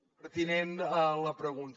és pertinent la pregunta